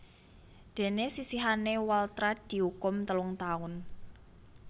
Déné sisihane Waltrat diukum telung taun